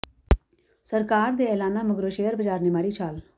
ਸਰਕਾਰੀ ਦੇ ਐਲਾਨਾਂ ਮਗਰੋਂ ਸ਼ੇਅਰ ਬਾਜ਼ਾਰ ਨੇ ਮਾਰੀ ਛਾਲ